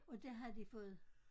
Og der havde de fået